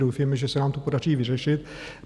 Doufejme, že se nám to podaří vyřešit.